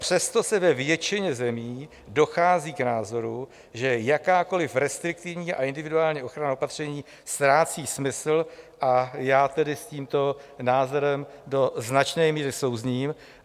Přesto se ve většině zemí dochází k názoru, že jakákoliv restriktivní a individuální ochranná opatření ztrácí smysl, a já tedy s tímto názorem do značné míry souzním.